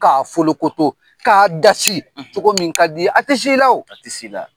K'a folokoto k'a dasi cogo min k'a di ye a tɛ s'i a o a tɛ s'ila